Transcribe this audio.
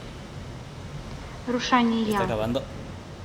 рушания